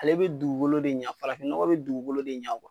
Ale be dugukolo de ɲa, fafafin nɔgɔ be dugukolo de ɲa